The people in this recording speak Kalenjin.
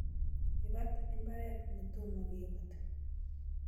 Ibat imbaret netomo kebati